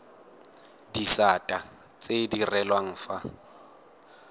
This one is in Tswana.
disata tse di direlwang fa